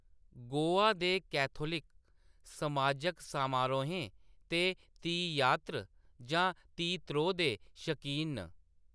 गोवा दे कैथोलिक समाजक समारोहें ते तीयात्र जां तीत्रो दे शकीन न।